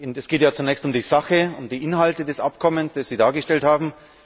Es geht ja zunächst um die Sache, um die Inhalte des Abkommens, das Sie dargestellt haben.